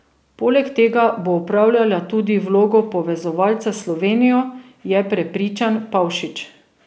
Poleg tega bo opravljala tudi vlogo povezovalca s Slovenijo, je prepričan Pavšič.